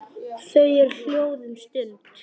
Þau eru hljóð um stund.